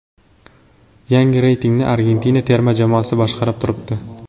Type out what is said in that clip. Yangi reytingni Argentina terma jamoasi boshqarib turibdi.